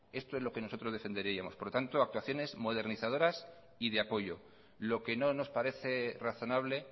esto es lo que nosotros defenderíamos por lo tanto actuaciones modernizadoras y de apoyo lo que no nos parece razonable